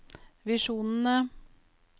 visjonene